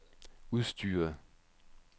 udstyret